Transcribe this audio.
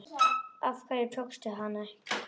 Af hverju tókstu hana ekki?